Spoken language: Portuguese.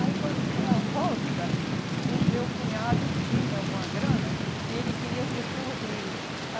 Aí, quando foi a volta, o meu cunhado tinha alguma grana e ele queria vir para o Rio.